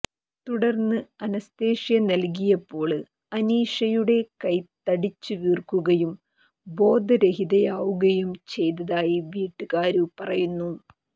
തുടര്ന്ന് അനസ്തീഷ്യ നല്കിയപ്പോള് അനീഷയുടെ കൈ തടിച്ചു വീര്ക്കുകയും ബോധരഹിതയാവുകയും ചെയ്തതായി വീട്ടുകാര് പറയുന്നു